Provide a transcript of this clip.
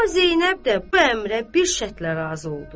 Amma Zeynəb də bu əmrə bir şərtlə razı oldu.